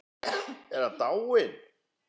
Er hann dáinn?